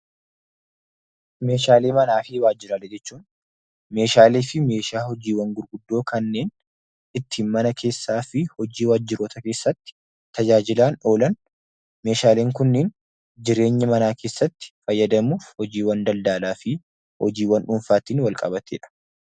Meeshaalee manaa fi waajjiraalee jechuun meeshaale fi meeshaa hojiiwwan gurguddoo kanneen ittiin mana keessaa fi hojii waajjiroota keessatti tajaajilaa oolan meeshaaleen kunneen jireenya manaa keessatti fayyadamuuf hojiiwwan daldaalaa fi hojiiwwan dhuunfaatiin wal qabateedha.